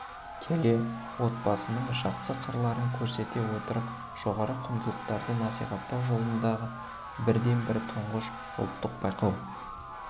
келе отбасының жақсы қырларын көрсете отырып жоғары құндылықтарды насихаттау жолындағы бірден бір тұңғыш ұлттық байқау